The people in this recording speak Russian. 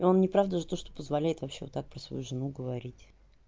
и он не прав даже то что позволяет вообще вот так про свою жену говорить